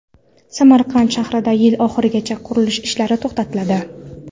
Samarqand shahrida yil oxirigacha qurilish ishlari to‘xtatiladi.